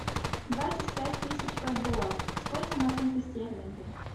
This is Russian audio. двадцать пять тысяч бальбоа сколько на фунты стерлинги